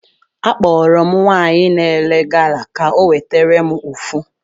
Akpọrọ m nwaanyị na-ere gala ka o wetere m ofu